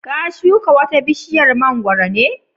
ka shuka wata bishiyar mangwaro ne?